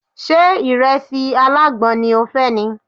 Ṣé ìrẹsì alágbọn ni o fẹ́ ni?